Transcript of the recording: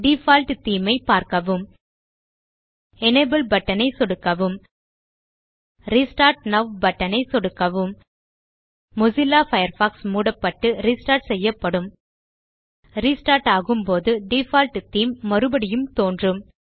default theme ஐப் பார்க்கவும் enable button ஐ சொடுக்கவும் ரெஸ்டார்ட் நோவ் பட்டன் ஐ சொடுக்கவும் மொசில்லா பயர்ஃபாக்ஸ் மூடப்பட்டு ரெஸ்டார்ட் செய்யப்படும் ரெஸ்டார்ட் ஆகும் போது டிஃபால்ட் தேமே மறுபடியும் தோன்றும்